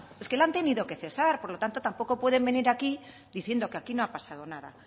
es que la han tenido que cesar por lo tanto tampoco pueden venir aquí diciendo que aquí no ha pasado nada